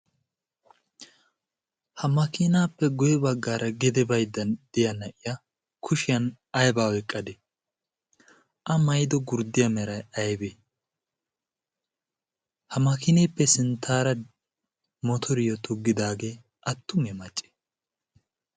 Ha makiinaappe guye baggaara gede baydda de7iya na7iya kushiyan aybba oyqqadde? A maayido gurddiya meray aybbee ha makinaappe sinttaara motoriyo toggidaagee attumeyee maccee?